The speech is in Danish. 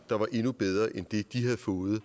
tusind